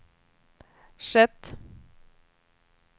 skett